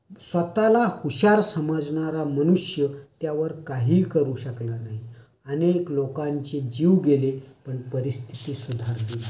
स्वतःला हुशार समजणार् या मनुष्य त्यावर काही करू शकला नाही. अनेल लोकांचे जीव गेले, परिस्थिति सुधारली नाही.